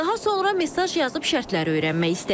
Daha sonra mesaj yazıb şərtləri öyrənmək istədik.